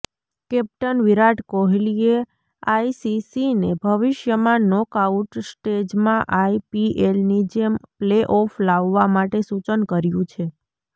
captain Virat કોહલીએ આઈસીસીને ભવિષ્યમાં નોકઆઉટ સ્ટેજમાં આઈપીએલની જેમ પ્લેઓફ લાવવા માટે સૂચન કર્યું છે